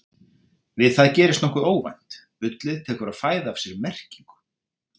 Við það gerist nokkuð óvænt: bullið tekur að fæða af sér merkingu!